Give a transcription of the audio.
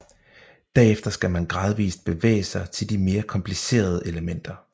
Derefter skal man gradvist bevæge sig til de mere komplicerede elementer